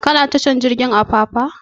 Ka na tashar jirgin apapa?